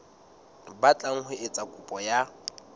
batlang ho etsa kopo ya